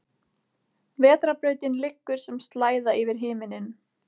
Vetrarbrautin liggur sem slæða yfir himinninn.